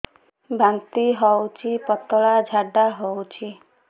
ବାନ୍ତି ହଉଚି ପତଳା ଝାଡା ହଉଚି